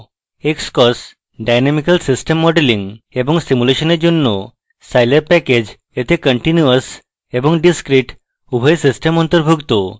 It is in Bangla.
xcos dynamical systems modeling এবং সিমুলেশনের জন্য স্কাইল্যাব প্যাকেজ এতে continuous এবং discrete উভয় systems অন্তর্ভুক্ত